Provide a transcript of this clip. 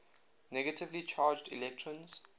negatively charged electrons